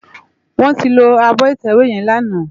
Wòn ti ló ábò itèwé yèn làná